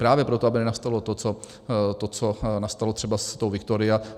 Právě proto, aby nenastalo to, co nastalo třeba s tou Victoria.